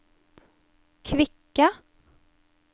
kvikke